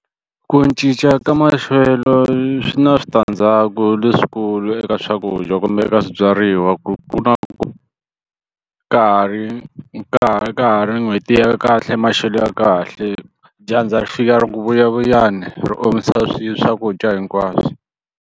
Ku cinca ka maxelo swi na switandzhaku leswikulu eka swakudya kumbe eka swibyariwa ku na ku ka ha ri ka ka ha ri n'hweti ya kahle maxelo ya kahle dyandza ri fika ri ku vuyavuyani ri omisa swakudya hinkwaswo.